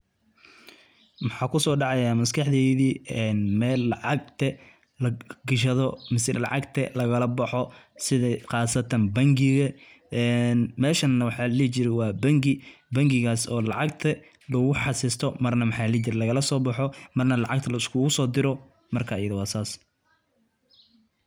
Maxa kuso dacayah maskaxdeyda mel lacagta lagashado mise lacagta lagala boxo sidhi qasatan bangiga. Meshan waxa ladihi jire wa bangi bangigas oo lacagta lagu xasesto marna lagala boxo, marna lacagta liskugu sodiro, marka ayadha wa sa.